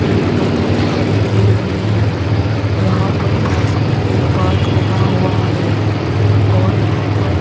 एक नदी दिखाई दे रही है यहां पर पास में एक पार्क बना हुआ है और यहां पर --